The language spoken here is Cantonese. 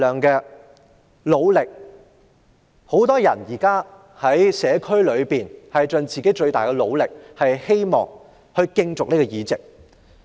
現在很多人都在社區盡自己最大的努力競逐議席。